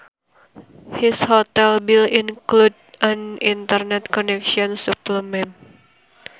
His hotel bill included an internet connection supplement